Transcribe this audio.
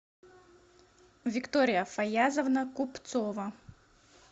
виктория фаязовна купцова